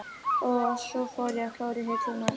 Og svo fór ég að klóra í hillurnar.